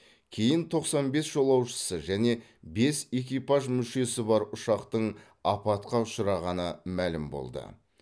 кейін тоқсан бес жолаушысы және бес экипаж мүшесі бар ұшақтың апатқа ұшырағаны мәлім болды